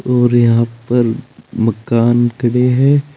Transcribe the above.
और यहां पर मकान खड़े है।